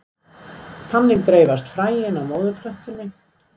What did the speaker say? Þannig dreifast fræin frá móðurplöntunni.